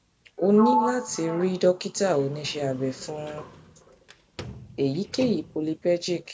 o ní láti rí dókítà oníṣẹ abẹ fún èyíkéyìí polypergic